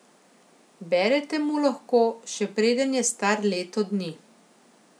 Berete mu lahko, še preden je star leto dni.